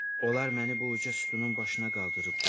Onlar məni bu uca sütunun başına qaldırıb qoyublar.